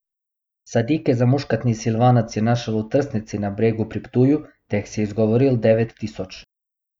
Sadike za muškatni silvanec je našel v trsnici na Bregu pri Ptuju, teh si je izgovoril devet tisoč.